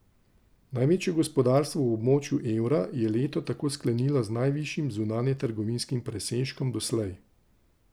Največje gospodarstvo v območju evra je leto tako sklenilo z najvišjim zunanjetrgovinskim presežkom doslej.